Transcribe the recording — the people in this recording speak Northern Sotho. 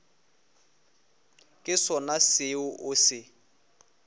ke sona seo o se